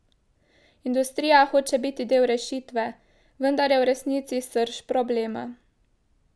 Industrija hoče biti del rešitve, vendar je v resnici srž problema.